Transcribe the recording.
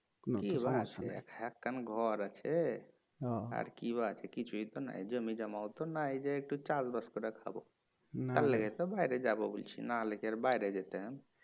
কি বা আছে একখান ঘর আছে আর কি বা আছে কিছুই তো না জমিজমাও তো নাই যে একটু চাষবাস কইরা খাব তার লিগে তো বাইরে যাবো বলছি নাহলে কি আর বাইরে যেতাম